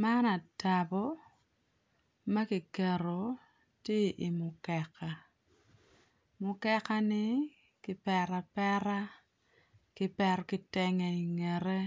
Man atabo makiketo tye i mukeka mukeka ni kipeto apeta kipeto kitenge i ngete